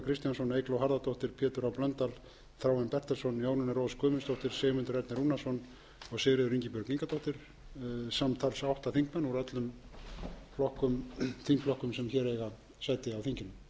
kristjánsson eygló harðardóttir pétur h blöndal þráinn bertelsson jónína rós guðmundsdóttir sigmundur ernir rúnarsson og sigríður ingibjörg ingadóttir samtals átta þingmenn úr öllum þingflokkum sem hér eiga sæti á þinginu vefbók ef menn